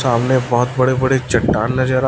सामने बहोत बड़े बड़े चट्टान नजर--